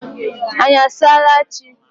anyị asaala chi.